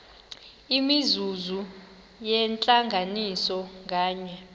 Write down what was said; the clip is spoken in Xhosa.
imizuzu yentlanganiso nganye